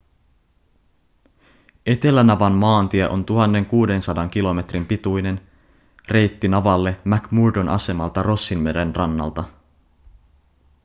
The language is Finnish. etelänavan maantie on 1 600 kilometrin pituinen reitti navalle mcmurdon asemalta rossinmeren rannalta